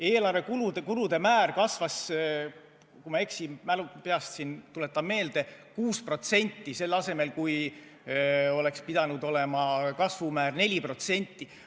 Eelarve kulude määr kasvas, kui ma ei eksi , 6%, kui kasvumäär oleks pidanud olema 4%.